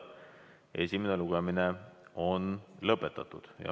Esimene lugemine on lõpetatud.